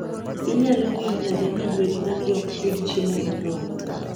Inyalo ng'eyo nade ni gwen magi ok yud chiemo moromo?